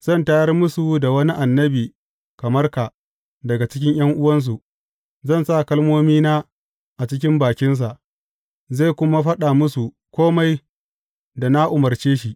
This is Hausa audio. Zan tayar musu da wani annabi kamar ka daga cikin ’yan’uwansu; zan sa kalmomina a cikin bakinsa, zai kuma faɗa musu kome da na umarce shi.